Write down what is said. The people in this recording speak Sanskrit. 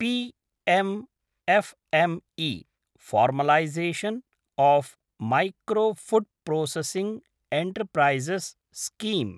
PM F M E – formalisation of micro food processing enterprises scheme